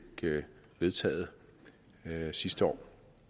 vedtaget sidste år